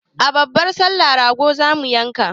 A babbar sallah rago zamu yanka